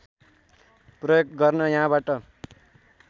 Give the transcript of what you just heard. प्रयोग गर्न यहाँबाट